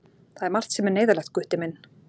Það er margt sem er neyðarlegt, Gutti minn.